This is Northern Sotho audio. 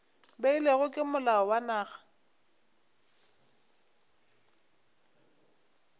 beilwego ke molao wa naga